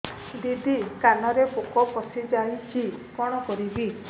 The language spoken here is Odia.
ଦିଦି କାନରେ ପୋକ ପଶିଯାଇଛି କଣ କରିଵି